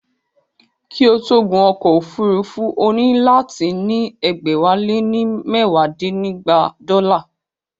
Kí o tó gun ọkọ̀ òfúrufú, o nílò láti ní ẹgbẹ̀wálénímẹwadínígba dọ́là